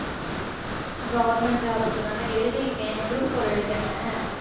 government job க்கு தான்டா எழுதி இருக்கேன் group four எழுதனேன்